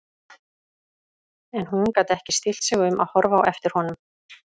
En hún gat ekki stillt sig um að horfa á eftir honum.